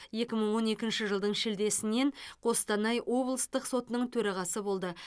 екі мың он екінші жылдың шілдесінен қостанай облыстық сотының төрағасы болды